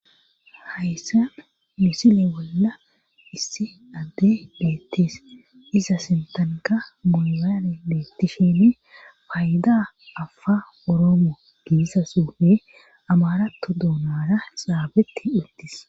hayssa misile bolla issi adde beettees iza sintanka mobile beettishinne payda afa oroomo gizaa xufe amarato duonara xaafetti uttis